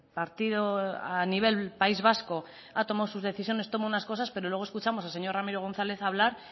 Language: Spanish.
partido a nivel país vasco ha tomado sus decisiones toma unas cosas pero luego escuchamos al señor ramiro gonzález hablar